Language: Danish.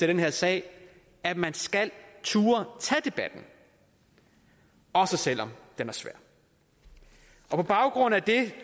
den her sag at man skal turde tage debatten også selv om den er svær på baggrund af det